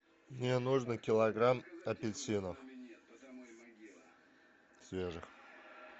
мне нужно килограмм апельсинов свежих